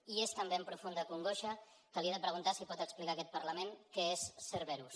i és també amb profunda congoixa que li he de preguntar si pot explicar a aquest parlament què és cerberus